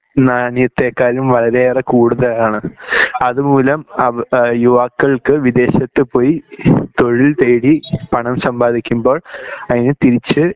നാണയത്തെക്കാളും വളരെയേറെ കൂടുതലാണ് അതുമൂലം യുവാക്കൾക്ക് വിദേശത്തുപോയി തൊഴിൽനേടി പണം സമ്പാദിക്കുമ്പോൾ അതിന് തിരിച്ച്‌